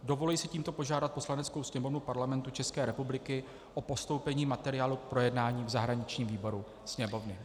Dovoluji si tímto požádat Poslaneckou sněmovnu Parlamentu České republiky o postoupení materiálu k projednání v zahraničním výboru Sněmovny.